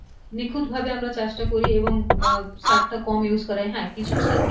নিখুঁত ভাবে আমরা চাষ টা করি এবং সার টা কম use করাই হ্যাঁ কিছু